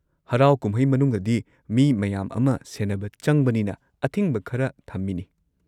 ꯍꯔꯥꯎ ꯀꯨꯝꯍꯩ ꯃꯅꯨꯡꯗꯗꯤ, ꯃꯤ ꯃꯌꯥꯝ ꯑꯃ ꯁꯦꯟꯅꯕ ꯆꯪꯕꯅꯤꯅ, ꯑꯊꯤꯡꯕ ꯈꯔ ꯊꯝꯃꯤꯅꯤ꯫